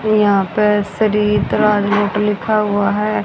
और यहां पे सरिता नोट लिखा हुआ है।